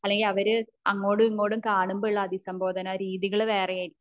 അല്ലെങ്കിൽ അവര് അങ്ങോടും ഇങ്ങോടും കാണുമ്പോ ഉള്ള അഭിസംബോധന രീതികൾ വേറെ ആയിരിക്കും